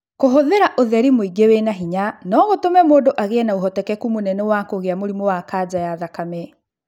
Kũhũthĩra ũtheri mũingĩ wĩna hinya no gũtũme mũndũ agĩe na ũhotekeku mũnene wa kũgĩa na mũrimũ wa kanja ya thakame